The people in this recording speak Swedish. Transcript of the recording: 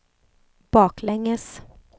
baklänges